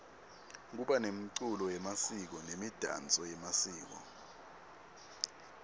kuba nemculo yemasiko nemidanso yemasiko